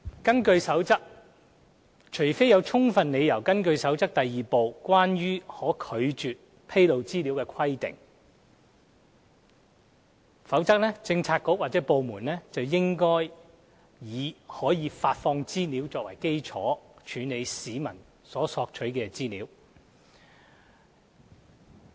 根據《守則》，除非有充分理由根據《守則》第2部的規定拒絕披露資料，否則政策局/部門應以可發放資料作為基礎，處理市民所索取的資料。